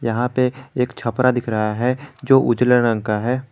यहां पे एक छपरा दिख रहा है जो उजले रंग का है।